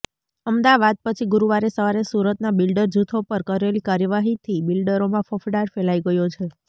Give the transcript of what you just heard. અમદાવાદ પછી ગુરૂવારે સવારે સુરતના બિલ્ડર જૂથો પર કરેલી કાર્યવાહીથી બિલ્ડરોમાં ફફડાટ ફેલાઇ ગયો છે